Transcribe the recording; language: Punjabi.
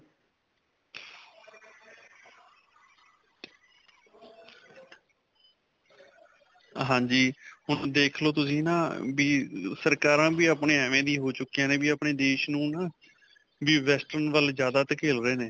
ਹਾਂਜੀ ਹੁਣ ਦੇਖ ਲੌ ਤੁਸੀਂ ਨਾ ਵੀ ਸਰਕਾਰਾਂ ਵੀ ਆਪਣੇ ਐਂਵੇ ਦੀ ਹੋ ਚੁਕੀਆਂ ਨੇ ਵੀ ਆਪਣੇ ਦੇਸ਼ ਨੂੰ ਨਾ ਵੀ western ਵੱਲ ਜਿਆਦਾ ਧਕੇਲ ਰਹੇ ਨੇ.